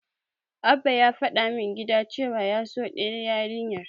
Abba yana faɗa min gida cewa ya so ɗayar yarinyar.